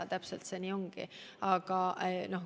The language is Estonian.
Täpselt nii see ongi.